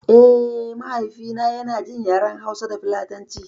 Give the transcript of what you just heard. Eh, mahaifi na yana jin yaren hausa da filatanci